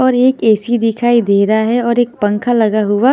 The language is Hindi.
और एक ऐ-सी दिखाई दे रहा है और एक पंखा लगा हुआ--